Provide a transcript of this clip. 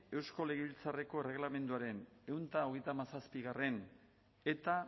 eusko legebiltzarreko erregelamenduaren ehun eta hogeita hamazazpigarrena eta